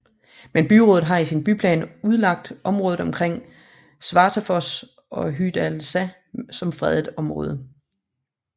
Men byrådet har i sin byplan udlagt området omkring Svartafoss og Hoydalsá som fredet område